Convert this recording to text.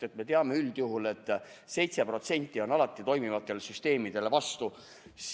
Me ju teame üldjuhul, et 7% on alati toimivatele süsteemidele vastu.